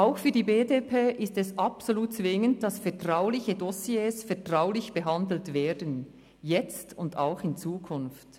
Auch für die BDP ist es absolut zwingend, dass vertrauliche Dossiers vertraulich behandelt werden – jetzt und auch in Zukunft.